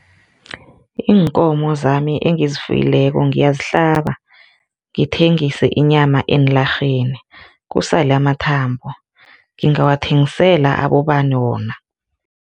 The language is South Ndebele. Iinkomo zami engizifuyileko ngiyazihlaba ngithengise inyama eenlarheni kusale amathambo, ngingawathengisela abobani wona?